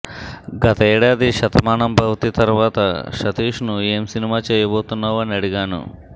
గతేడాది శతమానం భవతి తర్వాత సతీష్ను ఏం సినిమా చేయబోతున్నావు అని అడిగాను